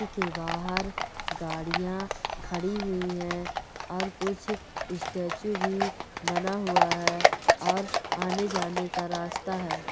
बाहर गाड़िया खड़ी हुई है और कुछ स्टेच्यू भी बना हुआ है और आने जाने का रास्ता है।